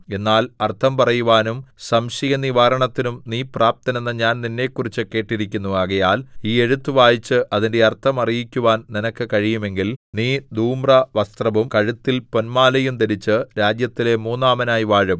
എന്നാൽ അർത്ഥം പറയുവാനും സംശയനിവാരണത്തിനും നീ പ്രാപ്തനെന്ന് ഞാൻ നിന്നെക്കുറിച്ച് കേട്ടിരിക്കുന്നു ആകയാൽ ഈ എഴുത്ത് വായിച്ച് അതിന്റെ അർത്ഥം അറിയിക്കുവാൻ നിനക്ക് കഴിയുമെങ്കിൽ നീ ധൂമ്രവസ്ത്രവും കഴുത്തിൽ പൊന്മാലയും ധരിച്ച് രാജ്യത്തിലെ മൂന്നാമനായി വാഴും